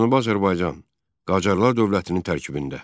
Cənubi Azərbaycan Qacarlar dövlətinin tərkibində.